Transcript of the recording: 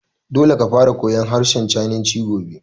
Dole ka fara koyan harshen sinanci gobe!